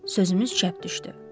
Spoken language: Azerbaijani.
Sözümüz çəp düşdü.